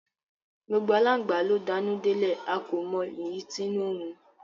Gbogbo alangba lo d'anu delẹ, a ko mọ èyí t'inu nrun